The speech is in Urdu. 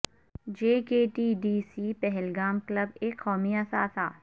جے K T D C Pahalgam club ایک قومی اثاثہ